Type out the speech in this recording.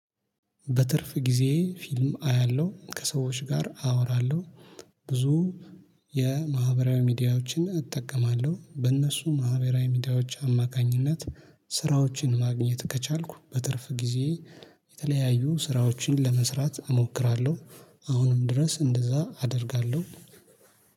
በትርፍ ጊዜ ፊልም አያለሁ ከሰዎች ጋር አወራለሁ። ብዙ የማህበራዊ ሚዲያዎችን እጠቀማለሁ። በእነሱ ማህበራዊ ሚዲያዎች አማካኝነት ስራዎችን ማግኘት ከቻልኩ በትርፍ ጊዜ የተለያዩ ስራዎችን ለመስራት እሞክራለሁ። አሁንም ድረስ እንደዛ አደርጋለሁ